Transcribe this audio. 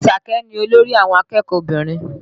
Àṣàkẹ́ ni olórí àwọn akẹ́kọ̀ọ́ obìnrin